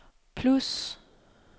plus